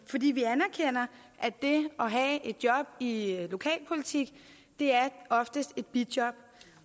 fordi vi anerkender at det at have et job i lokalpolitik oftest er et bijob